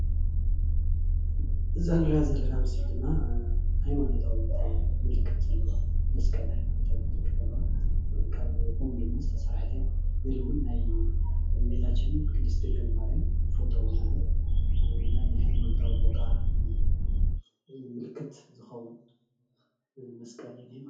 እዛ እንሪኣ ዘለና ኣብ ምስሊ ድማ ሃይማኖታዊት ምልክት ዘለዋ ናይ መስቀል ምልክት ዘለዋ እያ ካብ ኦም ድማ ዝተሰርሓት እያ፡፡ ኢሉ እውን ናይ እመቤታችን ቅድስቲ ድንግል ማርያም ፎቶ እውን ኣሎ፡፡ ናይ ሃይማኖታዊ ቦታ ምልክት ዝከውን መስቀል እዩ ዝንሄ፡፡